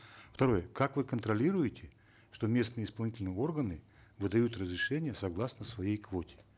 второе как вы контролируете что местные исполнительные органы выдают разрешение согласно своей квоте